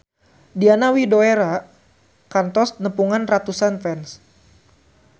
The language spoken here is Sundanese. Diana Widoera kantos nepungan ratusan fans